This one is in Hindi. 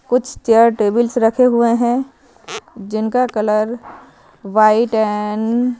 कुछ चेयर टेबल्स रखे हुए हैं जिनका कलर व्हाइट एंड --